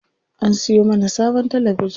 An siyo mana sabon talabijin.